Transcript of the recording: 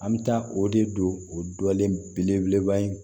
An bɛ taa o de don o dɔlen belebeleba in